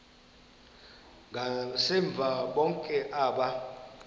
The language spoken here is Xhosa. ngasemva bonke aba